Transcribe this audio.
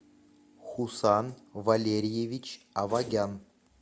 хусан валерьевич авагян